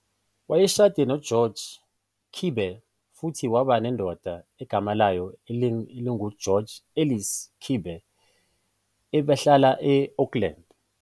Wayeshade noGeorge Kibbe, futhi waba nendodana egama layo linguGeorge Ellis Kibbe. Ubehlala e-Oakland.